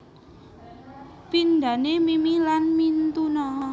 Pindhane mimi lan mintuna